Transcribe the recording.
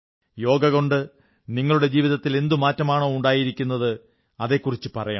യോഗ കൊണ്ട് നിങ്ങളുടെ ജീവിതത്തിൽ എന്തു മാറ്റമാണോ ഉണ്ടായിരിക്കുന്നത് അതെക്കുറിച്ച് പറയണം